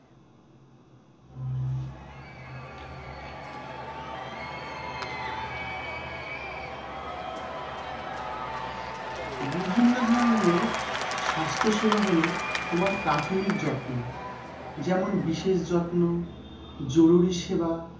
বিভিন্ন ধরনের স্বাস্থ্যসেবা হল, তোমার প্রাথমিক যত্ন যেমন-বিশেষ যত্ন, জরুরি সেবা